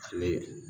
Ale